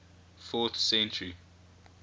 fourth century